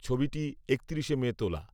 ছবিটি একত্রিশে মে তোলা